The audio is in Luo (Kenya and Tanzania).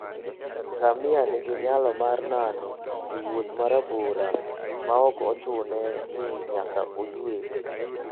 Ngamia nigi nyalo mar nano e wuoth ma rabora maok ochune ni nyaka oywe.